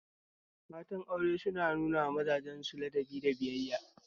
Matan aure suna nunawa mazajen su ladabi da biyayya